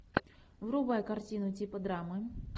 врубай картину типа драмы